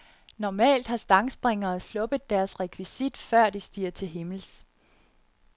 Normalt har stangspringere sluppet deres rekvisit, før de stiger til himmels.